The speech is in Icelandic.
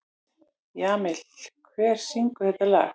Jamil, hver syngur þetta lag?